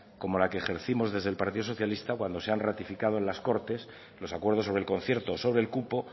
como la que ejercimos desde el partido socialista cuando se han ratificado en las cortes los acuerdos sobre el concierto sobre el cupo